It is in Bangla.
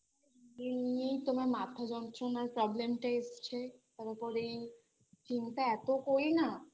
এমনিই তো আমার মাথা যন্ত্রণার Problem টা এসছে তারপরে এই চিন্তা এতো করি না